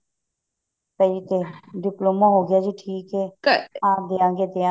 ਇਹੀ ਤੇ diploma ਹੋਗੀਆ ਜੀ ਠੀਕ ਹੈ ਹਾਂ ਦਿਆਂਗੇ ਦਿਆਂਗੇ